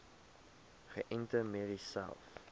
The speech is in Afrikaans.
geënte merries selfs